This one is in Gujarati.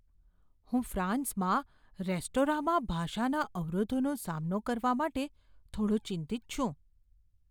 હું ફ્રાન્સમાં રેસ્ટોરાંમાં ભાષાના અવરોધોનો સામનો કરવા માટે થોડો ચિંતિત છું.